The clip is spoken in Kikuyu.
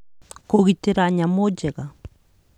Kũgitĩra Nyamũ Njega